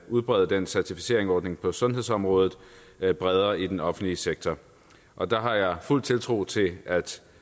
udbrede den certificeringsordning på sundhedsområdet bredere i den offentlige sektor og der har jeg fuld tiltro til at